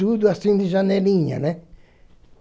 Tudo assim de janelinha, né?